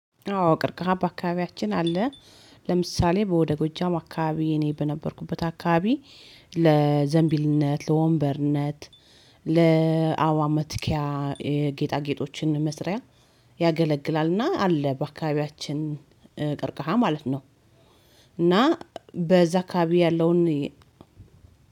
አዎ ቀርቀሃ በአካባቢያችን አለ። ለምሳሌ በወደ ጎጃም አካባቢ እኔ በነበርኩበት አካባቢ ለወንበርነት ለአበባ መትኪያ ጌጣጌጦችን መስሪያ ያገለግላል እና አለ በአካባቢያችን ቀርቀሃ ማለት ነው። እና በዛ አካባቢ ያለውን